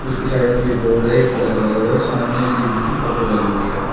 उसी साइड में फिर बोर्ड है एक प्लग हुआ है सामने एक जीम की फोटो लगी हुई है।